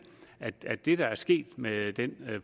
at det det der er sket med den